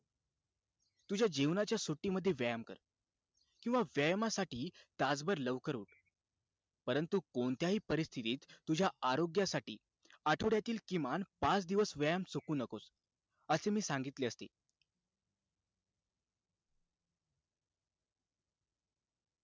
तुझ्या जेवणाच्या सुट्टीमध्ये व्यायाम कर. किंवा व्यायामासाठी तासभर लवकर उठ. परंतु कोणत्याही परिस्थितीत, तुझ्या आरोग्यासाठी, आठवड्यातील किमान पाच दिवस व्यायाम चुकवू नको, असे मी सांगितले असते.